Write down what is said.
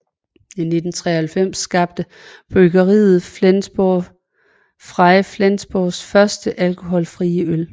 I 1993 skabte bryggeriet med Flensburger Frei Flensborgs første alkoholfrie øl